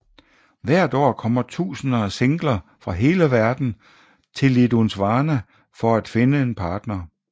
Hvert år kommer tusinder af singler fra hele verden til Lisdoonvarna for at finde en partner